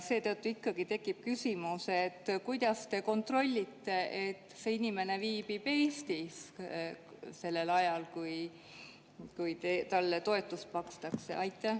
Seetõttu tekib küsimus: kuidas te kontrollite, et see inimene viibib Eestis sellel ajal, kui talle toetust makstakse?